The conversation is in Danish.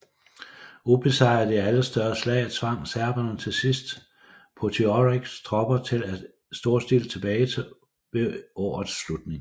Ubesejret i alle større slag tvang serberne til sidst Potioreks tropper til et storstilet tilbagetog ved årets slutning